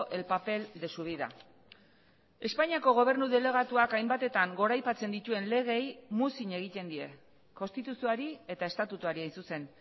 el papel de su vida espainiako gobernu delegatuak hainbatetan goraipatzen dituen legeei muzin egiten die konstituzioari eta estatutuari hain zuzen